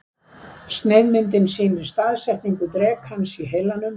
Sneiðmyndin sýnir staðsetningu drekans í heilanum.